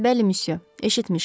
Bəli, müsyö, eşitmişəm.